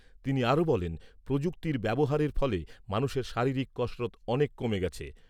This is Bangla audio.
তিনি আরো বলেন, প্রযুক্তির ব্যবহারের ফলে মানুষের শারীরিক কসরৎ অনেক কমে গেছে।